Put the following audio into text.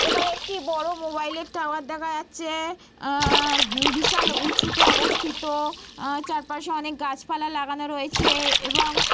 এখানে একটি বড় মোবাইল -এর টাওয়ার দেখা যাচ্ছে। উহঃ বিশাল উঁচুতে অবস্থিত। উহঃ চারপাশে অনেক গাছপালা লাগানো রয়েছে এবং --